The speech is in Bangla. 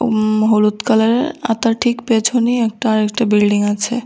উম হলুদ কালারের আর তার ঠিক পেছনে একটা আরেকটা বিল্ডিং আছে।